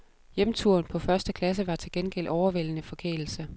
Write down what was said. Hjemturen på første klasse var til gengæld overvældende forkælelse.